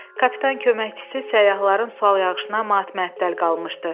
Kapitan köməkçisi səyyahların sual yağışına matməəttəl qalmışdı.